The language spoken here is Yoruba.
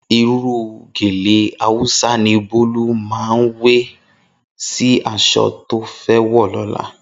Irú gèlè Hausa ni Bólú máa wé sí aṣọ tó fẹ́ wọ̀ lọ́la